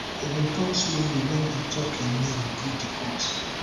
e bin tok slowly wen e tok im name give di court